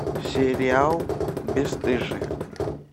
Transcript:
сериал бесстыжие